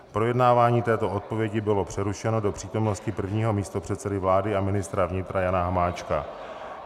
Projednávání této odpovědi bylo přerušeno do přítomnosti prvního místopředsedy vlády a ministra vnitra Jana Hamáčka.